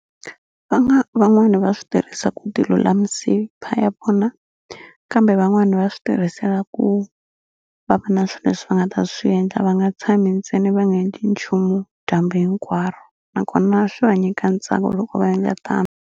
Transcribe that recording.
Va nga van'wani lava swi tirhisa ku ya vona kambe van'wani va swi tirhisela ku va va na swi leswi va nga ta swi endla va nga tshami ntsena va nga endli nchumu dyambu hinkwaro nakona swi va nyika ntsako loko va endla tano.